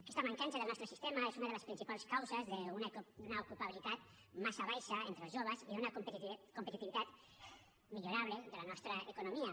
aquesta mancança del nostre sistema és una de les principals causes d’una ocupabilitat massa baixa entre els joves i d’una competitivitat millorable de la nostra economia